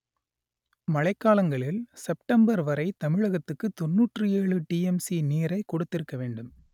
மழை காலங்களில் செப்டம்பர் வரை தமிழகத்துக்கு தொன்னூற்று ஏழு டிஎம்சி நீரை கொடுத்திருக்க வேண்டும்